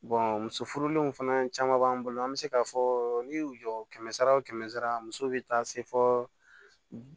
muso furulenw fana caman b'an bolo an bɛ se k'a fɔ n'i y'u jɔ kɛmɛ sara o kɛmɛ sara muso bɛ taa se fɔ